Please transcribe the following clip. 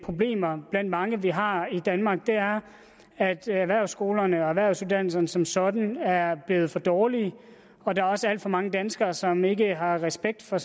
problemer blandt mange vi har i danmark er at erhvervsskolerne og erhvervsuddannelserne som sådan er blevet for dårlige og der er også alt for mange danskere som ikke har respekt for